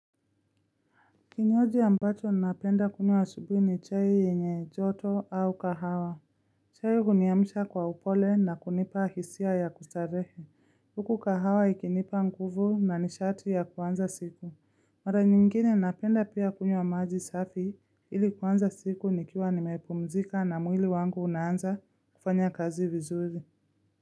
Kinywaji ambacho napenda kunywa asubuhi ni chai yenye joto au kahawa. Chai huniamsha kwa upole na kunipa hisia ya kustarehe. Huku kahawa ikinipa nguvu na nishati ya kuanza siku. Mara nyingine napenda pia kunywa maji safi ili kuanza siku nikiwa nimepumzika na mwili wangu unaanza kufanya kazi vizuri.